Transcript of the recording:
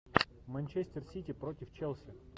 манчестер сити против челси